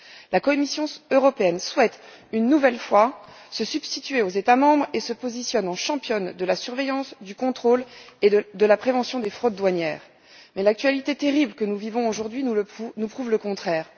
La Commission souhaite une nouvelle fois se substituer aux États membres et se positionne en championne de la surveillance, du contrôle et de la prévention des fraudes douanières, mais l'actualité terrible que nous vivons aujourd'hui nous prouve le contraire.